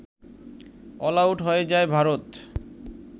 all out হয়ে যায় ভারত